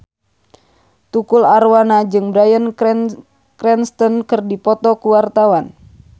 Tukul Arwana jeung Bryan Cranston keur dipoto ku wartawan